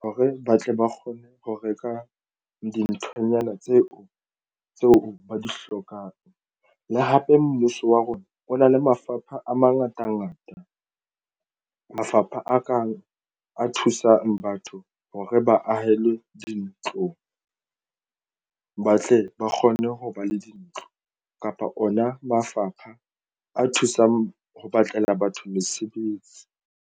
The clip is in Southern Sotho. hore ba tle ba kgone ho reka dinthonyana tseo ba di hlokang le hape mmuso wa rona o na le mafapha a mangatangata mafapha a kang a thusang batho hore ba ahelwe dintlong, ba tle ba kgone ho ba le dintlo kapa ona mafapha a thusang ho batlela batho mosebetsi.